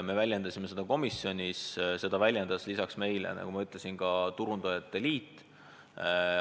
Me väljendasime seda muret komisjonis ja lisaks meile väljendas seda, nagu ma ütlesin, ka Turundajate Liit.